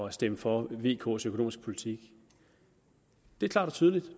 at stemme for vks økonomiske politik det er klart og tydeligt